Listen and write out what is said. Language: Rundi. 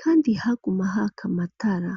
kandi, haguma haka matara.